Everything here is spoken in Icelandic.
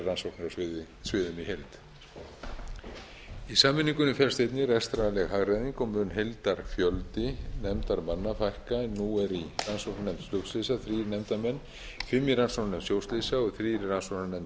heild í sameiningunni felst einnig rekstrarleg hagræðing og mun heildarfjöldi nefndarmanna fækka en nú eru í rannsóknarnefnd flugslysa þrír nefndarmenn fimm í rannsóknarnefnd sjóslysa og þrír í rannsóknarnefnd